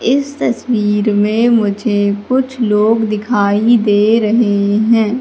इस तस्वीर में मुझे कुछ लोग दिखाई दे रहे हैं।